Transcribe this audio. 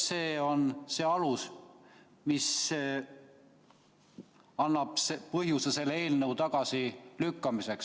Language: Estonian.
" See on alus, mis annab põhjuse see eelnõu tagasi lükata.